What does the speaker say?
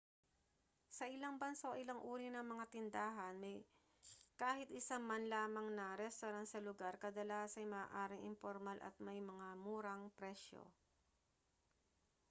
sa ilang bansa o ilang uri ng mga tindahan may kahit isa man lamang na restawran sa lugar kadalasa'y maaaring impormal at may mga murang presyo